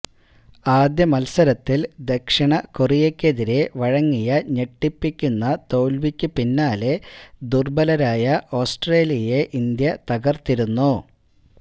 ആദ്യ മത്സരത്തില് ദക്ഷിണ കൊറിയയ്ക്കെതിരെ വഴങ്ങിയ ഞെട്ടിപ്പിക്കുന്ന തോല്വിക്ക് പിന്നാലെ ദുര്ബലരായ ഓസ്ട്രേലിയെ ഇന്ത്യ തകര്ത്തിരുന്നു